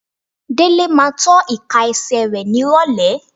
Délé máa tọ́ ìka ẹsẹ̀ rẹ nírọ̀lẹ́.